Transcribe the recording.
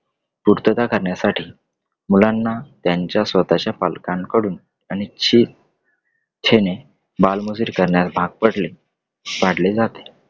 पूर्तता करण्यासाठी मुलांना त्यांच्या स्वतःच्या पालकांकडून त्यांची इच्छेने बालमजुरी करण्यास भाग पडले , पाडले जाते.